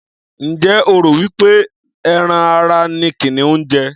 Ǹjẹ́ o rò wí pé ẹran ara ni kìnìún ń jẹ?